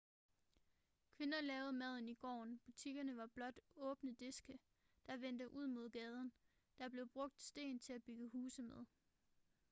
kvinder lavede maden i gården butikkerne var blot åbne diske der vendte ud mod gaden der blev brugt sten til at bygge huse med